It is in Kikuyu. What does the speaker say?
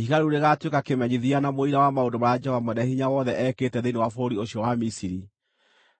Ihiga rĩu rĩgaatuĩka kĩmenyithia na mũira wa maũndũ marĩa Jehova Mwene-Hinya-Wothe ekĩte thĩinĩ wa bũrũri ũcio wa Misiri.